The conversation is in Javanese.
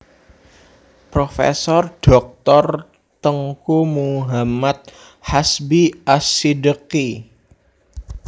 Profesor Dhoktor Teungku Muhammad Hasbi Ash Shiddieqy